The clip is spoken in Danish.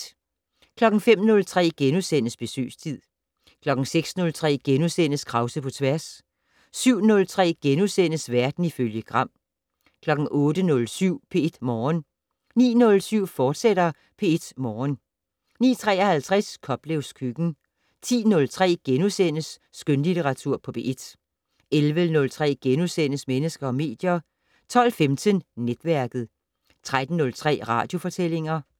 05:03: Besøgstid * 06:03: Krause på tværs * 07:03: Verden ifølge Gram * 08:07: P1 Morgen 09:07: P1 Morgen, fortsat 09:53: Koplevs køkken 10:03: Skønlitteratur på P1 * 11:03: Mennesker og medier * 12:15: Netværket 13:03: Radiofortællinger